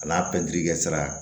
A n'a pɛntiri kɛ sira